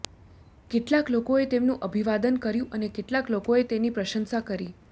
કેટલાક લોકોએ તેમનું અભિવાદન કર્યું અને કેટલાક લોકો એ તેની પ્રશંસા કરી